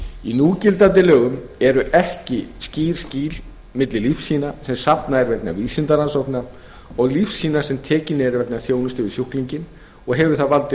í núgildandi lögum eru ekki skýr skil milli lífsýna sem safnað er vegna vísindarannsókna og lífsýna sem tekin eru vegna þjónustu við sjúklinginn og hefur það valdið